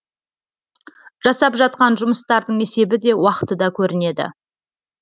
жасап жатқан жұмыстардың есебі де уақыты да көрінеді